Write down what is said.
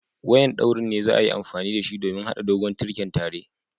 Wayan ɗaurin ne za'a yi amfani da shi domin hada dogon tirken tare.